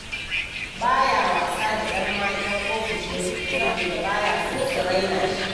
Ba ya wasa da ‘yan matan ofishinsu saboda ba ya so su raina shi.